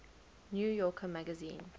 new yorker magazine